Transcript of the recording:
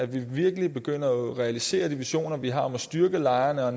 ved virkelig at begynde at realisere de visioner vi har om at styrke lejrene og